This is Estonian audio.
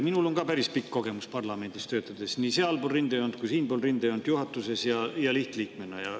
Minul on ka päris pikk parlamendis töötamise kogemus, olen olnud nii sealpool rindejoont kui ka siinpool rindejoont, nii juhatuses kui ka lihtliige.